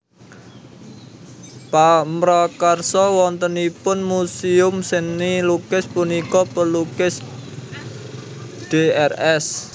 Pamrakarsa wontenipun muséum seni lukis punika Pelukis Drs